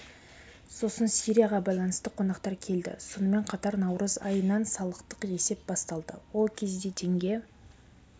сосын сирияға байланысты қонақтар келді сонымен қатар наурыз айынан салықтық есеп басталды ол кезде теңге